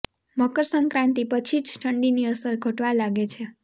મકર સંક્રાંતિ પછી જ ઠંડીની અસર ઘટવા લાગે છે